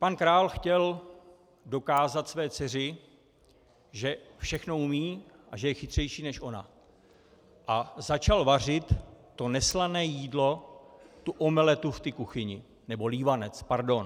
Pan král chtěl dokázat své dceři, že všechno umí a že je chytřejší než ona, a začal vařit to neslané jídlo, tu omeletu v kuchyni, nebo lívanec, pardon.